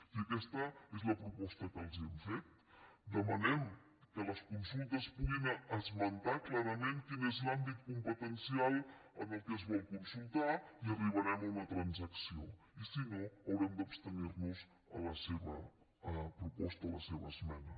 i aquesta és la proposta que els hem fet demanem que les consultes puguin esmentar clarament quin és l’àmbit competencial en què es vol consultar i arribarem a una transacció i si no haurem d’abstenirnos en la seva proposta en la seva esmena